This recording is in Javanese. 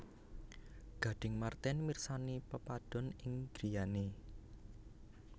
Gading Marten mirsani pepadon ing griyane